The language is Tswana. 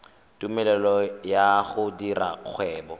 tumelelo ya go dira kgwebo